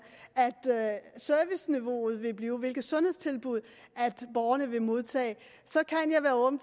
serviceniveauet vil blive og hvilke sundhedstilbud borgerne vil modtage så kan jeg være åben